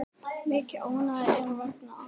Mikið ónæði er vegna atsins.